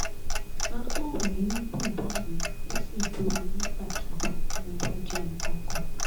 ahọ́n mi ń dùn báyìí ó sì jo mi nígbàkigbà tí mo bá jẹ nǹkan kan